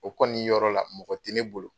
O kɔni yɔrɔ la, mɔgɔ tɛ ne bolo.